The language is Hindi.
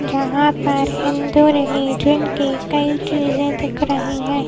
यहाँ पर हिंदू रिलीजन की कई चीजें दिख रही हैं।